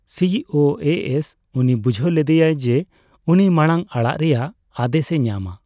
ᱥᱤᱹ ᱳᱹ ᱮᱹ ᱮᱥ ᱩᱱᱤ ᱵᱩᱡᱷᱟᱹᱣ ᱞᱮᱫᱮᱭᱟ ᱡᱮ ᱩᱱᱤ ᱢᱟᱲᱟᱝ ᱟᱲᱟᱜ ᱨᱮᱭᱟᱜ ᱟᱫᱮᱥ ᱮ ᱧᱟᱢ ᱟ ᱾